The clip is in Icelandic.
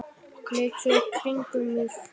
Leit svo í kringum mig.